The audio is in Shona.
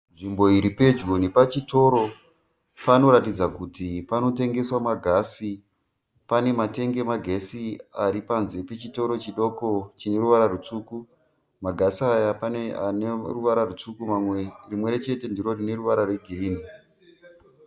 Nzvimbo iripedyo nepachitoro panoratidza kuti panotengeswa magasi pane ma tank emagasi aripanze pechitoro chidoko chine ruvara rutsvuku magasi aya pane ane ruvara rutsvuku rimwechete ndorine ruvara rwegirinhi